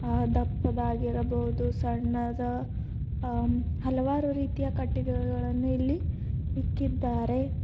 ಆ ದಪ್ಪದಾಗಿರಬಹುದು ಸಣ್ಣದ ಅ ಹಲವಾರು ರೀತಿಯ ಕಟ್ಟಿಗೆಗಳನ್ನು ಇಲ್ಲಿ ಇಕ್ಕಿದ್ದಾರೆ.